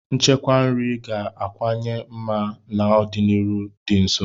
Nchekwa nri ga-akawanye mma n'ọdịnihu dị nso.